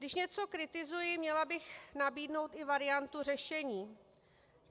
Když něco kritizuji, měla bych nabídnout i variantu řešení.